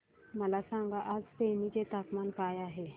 मला सांगा आज तेनी चे तापमान काय आहे